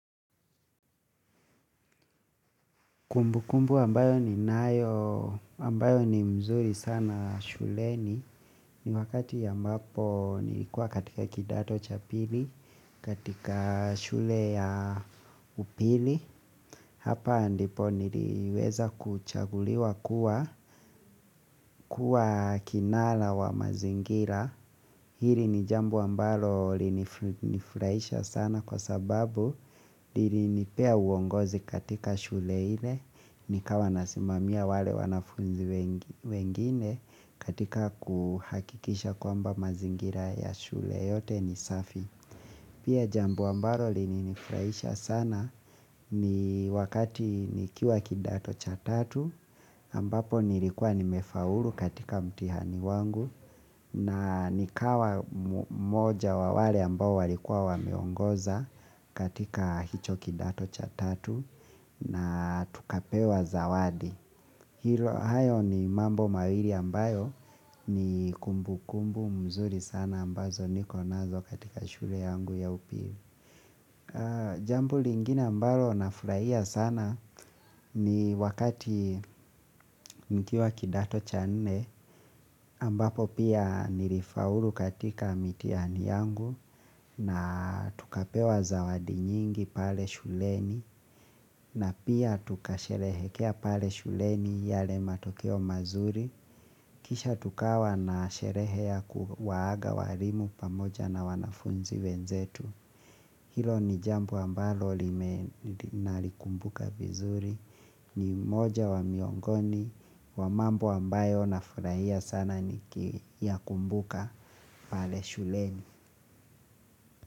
Kumbu kumbu ambayo ninayo ambayo ni mzuri sana shuleni ni wakati ambapo nilikuwa katika kidato cha pili katika shule ya upili hapa ndipo niliweza kuchaguliwa kuwa kinara wa mazingira. Hili ni jambo ambalo lilinifurahisha sana kwa sababu lilinipea uongozi katika shule ile nikawa nasimamia wale wanafunzi wengine katika kuhakikisha kwamba mazingira ya shule yote ni safi Pia jambo ambalo lilinifurahisha sana ni wakati nikiwa kidato cha tatu ambapo nilikuwa nimefaulu katika mtihani wangu na nikawa mmoja wa wale ambao walikuwa wameongoza katika hicho kidato cha tatu na tukapewa zawadi. Hilo hayo ni mambo mawili ambayo ni kumbu kumbu mzuri sana ambazo niko nazo katika shule yangu ya upili. Jambo lingine ambalo nafurahia sana ni wakati nikiwa kidato cha nne ambapo pia nilifaulu katika mitihani yangu na tukapewa zawadi nyingi pale shuleni na pia tukasherehekea pale shuleni yale matokeo mazuri. Kisha tukawa na sherehea ya kuwaaga walimu pamoja na wanafunzi wenzetu Hilo ni jambo ambalo nalikumbuka vizuri ni moja wa miongoni wa mambo ambayo nafurahia sana nikiyakumbuka pale shuleni.